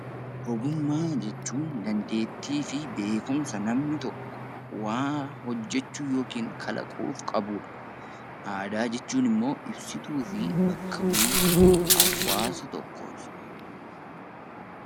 Ogummaa jechuun dandeettii fi beekumsa namni tokko waa hojjechuu yookiin kalaquuf qabuu dha. Aadaa jechuun immoo ibsituu fi bakka buutuu hawaasa tokkoo ti.